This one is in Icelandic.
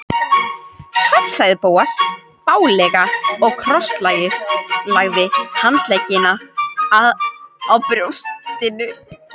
Sæll sagði Bóas fálega og krosslagði handleggina á brjóstinu.